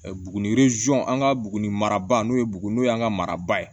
Buguni an ka buguni mara n'o ye buguni n'o y'an ka maraba ye